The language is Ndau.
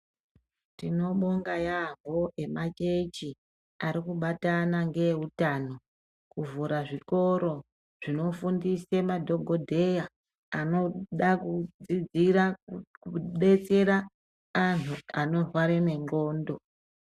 Tinobonga yaamho emachechi ari kubatana neutano kuvhura zvikoro zvinofundisa madhokodheya anoda kudzidzira kubetsera antu anorwara nendxondo.